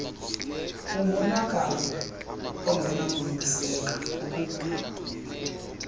umonakalo ongenakulungiseka ukugula